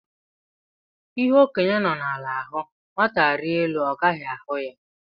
Ihe okenye nọ ala hụ, nwata rịa elu ọ gaghị ahụ ya